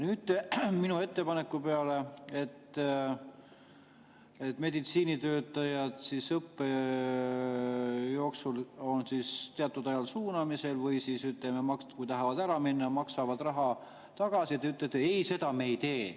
Nüüd te minu ettepaneku peale, et meditsiinitöötajad on teatud ajal suunamisel, või ütleme, et kui tahavad ära minna, siis maksavad raha tagasi, ütlete, et ei, seda me ei tee.